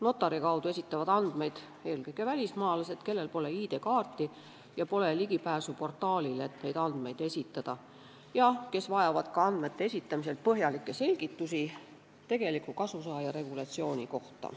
Notari kaudu esitavad andmeid eelkõige välismaalased, kellel pole ID-kaarti ja pole ka ligipääsu portaalile, et saaks neid andmeid esitada, ja kes vajavad ka andmete esitamisel põhjalikke selgitusi tegeliku kasusaaja regulatsiooni kohta.